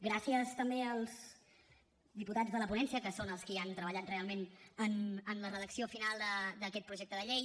gràcies també als diputats de la ponència que són els qui han treballat realment en la redacció final d’aquest projecte de llei